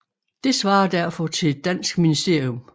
Det svarer derfor til et dansk ministerium